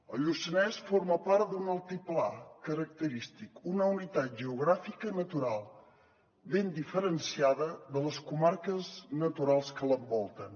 el lluçanès forma part d’un altiplà característic una unitat geogràfica natural ben diferenciada de les comarques naturals que l’envolten